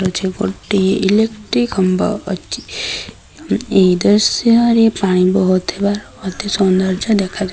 ଅଛି ଗୋଟିଏ ଇଲେଟ୍ରି ଖୁମ୍ବ ଅଛି ଏଇ ଦୃଶ୍ୟରେ ପାଣି ବୋହୁଥିବାର ମଧ୍ଯ ସୁନ୍ଦର୍ଯ୍ୟ ଦେଖାଯା --